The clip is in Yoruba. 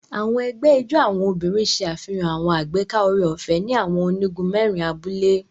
Àwọn egbé ijó àwọn obìnrin ṣe àfihàn àwọn agbeka oore-ọfẹ ni awọn onigun mẹrin abúlé